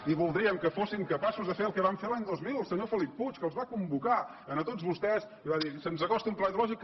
i voldríem que fossin capaços de fer el que vam fer l’any dos mil el senyor felip puig que els va convocar a tots vostès i va dir se’ns acosta un pla hidrològic